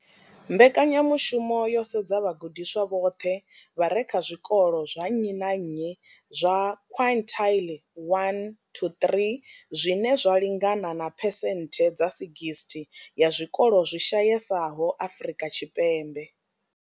Mbekanyamushumo yo sedza vhagudiswa vhoṱhe vha re kha zwikolo zwa nnyi na nnyi zwa quintile 1to 3, zwine zwa lingana na phesenthe dza 60 ya zwikolo zwi shayesaho Afrika Tshipembe.